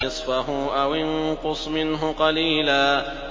نِّصْفَهُ أَوِ انقُصْ مِنْهُ قَلِيلًا